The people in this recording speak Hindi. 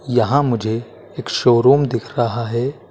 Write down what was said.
यहां मुझे एक शोरूम दिख रहा है।